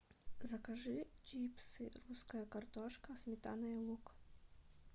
закажи чипсы русская картошка сметана и лук